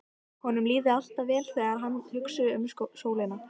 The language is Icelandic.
Honum líði alltaf vel þegar hann hugsi um sólina.